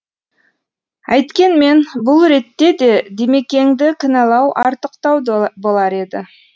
әйткенмен бұл ретте де димекеңді кінәлау артықтау болар еді